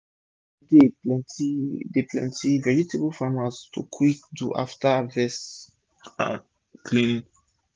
rainy day dey plenty dey plenty vegetable farmers to quick do afta harvest cleaning